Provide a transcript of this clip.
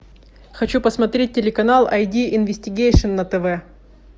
хочу посмотреть телеканал ай ди инвестигейшн на тв